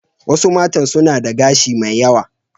Wasu matan suna da gashi mai yawa.